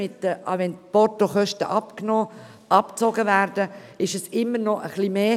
Auch wenn die Portokosten abgezogen werden, ist es immer noch etwas mehr.